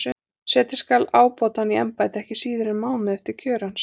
Setja skal ábótann í embætti ekki síðar en mánuði eftir kjör hans.